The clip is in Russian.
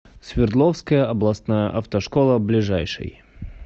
свердловская областная автошкола ближайший